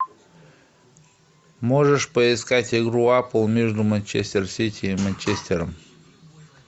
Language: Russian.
можешь поискать игру апл между манчестер сити и манчестером